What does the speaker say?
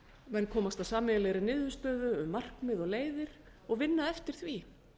menn komast að sameiginlegri niðurstöðu um markmið og leiðir og vinna eftir því